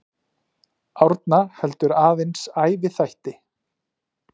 Árna heldur aðeins æviþætti.